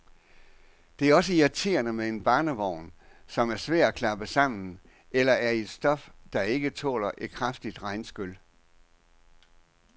Det er også irriterende med en barnevogn, som er svær at klappe sammen, eller er i et stof, der ikke tåler et kraftigt regnskyl.